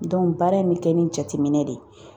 baara in bɛ kɛ ni jateminɛ de